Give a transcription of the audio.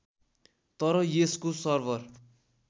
तर यसको सर्भर